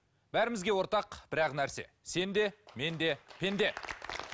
бәрімізге ортақ бір ақ нәрсе сен де мен де пенде